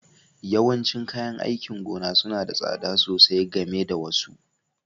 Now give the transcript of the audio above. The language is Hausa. Yawancin kayan aikin gona suna da tsada sosai game da wasu